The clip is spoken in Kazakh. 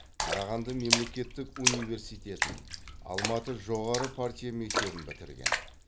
қарағанды мемлекеттік университетін алматы жоғары партия мектебін бітірген